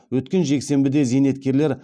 өткен жексенбіде зейнеткерлер